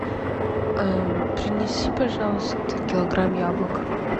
принеси пожалуйста килограмм яблок